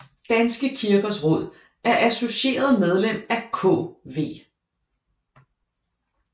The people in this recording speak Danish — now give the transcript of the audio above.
Danske Kirkers Råd er associeret medlem af KV